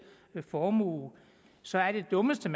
formue så er det dummeste